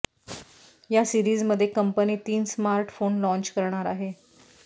या सीरीज मध्ये कंपनी तीन स्मार्टफोन लाँच करणार आहे